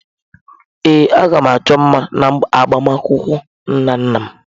Ee, a ga m achọ mma ga agbamakwụkwọ Nnanna.